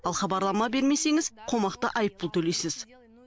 ал хабарлама бермесеңіз қомақты айыппұл төлейсіз